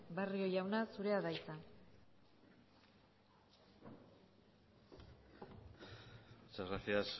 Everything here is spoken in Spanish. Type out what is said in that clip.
barrio jauna zurea da hitza muchas gracias